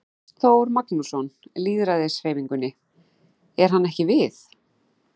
Ástþór Magnússon, Lýðræðishreyfingunni: Er hann ekki við?